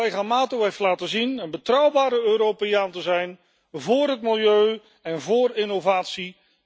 Collega Mato heeft laten zien een betrouwbare Europeaan te zijn, vóór het milieu en vóór innovatie.